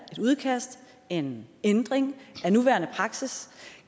et udkast en ændring af nuværende praksis